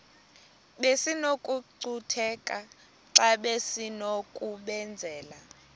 besinokucutheka xa besinokubenzela